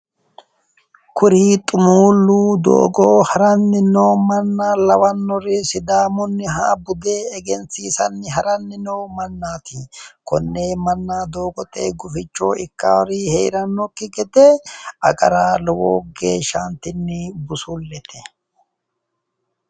Kuri xumulu doogote haranori sidaamuha budure udirinire seekke agara lowontanni busulete